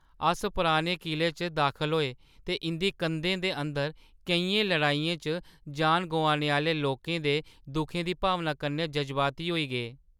अस पुराने किले च दाखल होए ते इंʼदी कंधें दे अंदर केईं लड़ाइयें च जान गोआनै आह्‌ले लोकें दे दुखै दी भावना कन्नै जज्बाती होई गे।